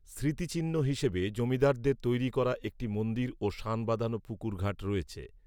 স্মৃতিচিহ্ন হিসেবে জমিদারদের তৈরি করা একটি মন্দির ও সান বাঁধানো পুকুর ঘাট রয়েছে